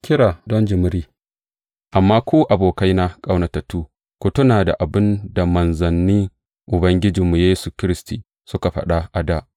Kira don jimiri Amma ku abokaina ƙaunatattu, ku tuna da abin da manzannin Ubangijinmu Yesu Kiristi suka faɗa a dā.